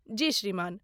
जी श्रीमान